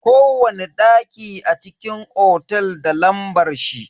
Kowani daki a cikin otel da lambar shi.